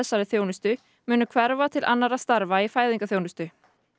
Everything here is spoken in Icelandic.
þeirri þjónustu munu hverfa til annarra starfa í fæðingarþjónustu